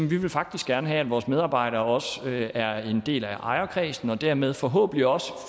vi vil faktisk gerne have at vores medarbejdere også er en del af ejerkredsen og dermed forhåbentlig også